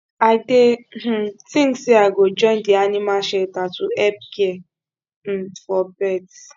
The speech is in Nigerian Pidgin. i dey um think say i go join di animal shelter to help care um for pets